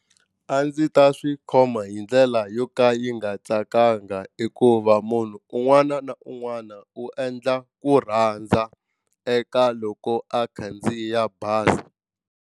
A ndzi ta swi khoma hi ndlela yo ka yi nga tsakanga hikuva munhu un'wana na un'wana u endla ku rhandza eka loko a khandziya bazi.